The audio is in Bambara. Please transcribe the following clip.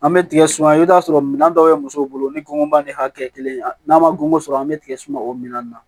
An bɛ tigɛ suma i bɛ t'a sɔrɔ minɛn dɔw bɛ musow bolo ni gɔngɔn ba ni hakɛ kelen n'a ma ŋo sɔrɔ an bɛ tigɛ suma o minɛn na